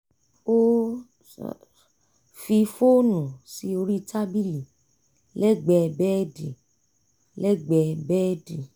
ó fi fóònù sí orí tábìlì lẹ́gbẹ̀ẹ́ bẹ́ẹ̀dì lẹ́gbẹ̀ẹ́ bẹ́ẹ̀dì